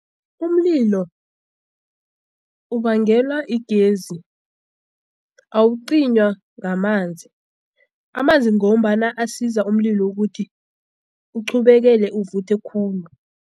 Umlilo ubangelwa yigezi awucinywa ngamanzi amanzi ngombana asiza umlilo ukuthi uqhubekele uvuthe khulu.